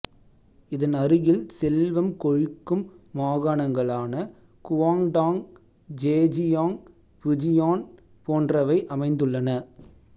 இதன் அருகில் செல்வம் கொழிக்கும் மாகாணங்களான குவாங்டாங் ஜேஜியாங் புஜியான் போன்றவை அமைந்துள்ளன